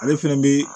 Ale fɛnɛ be